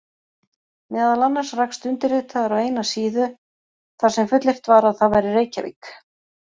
Meðal annars rakst undirritaður á eina síða þar sem fullyrt var að það væri Reykjavík!